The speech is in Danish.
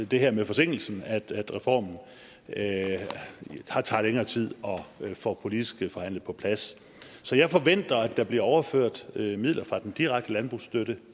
det her med forsinkelsen at reformen tager længere tid at få politisk forhandlet på plads så jeg forventer at der bliver overført midler fra den direkte landbrugsstøtte